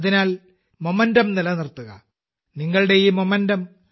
അതിനാൽ ഊർജം നിലനിർത്തുകനിങ്ങളുടെ ഈ ഊർജം